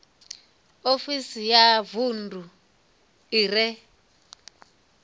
ofisi ya vunḓu i re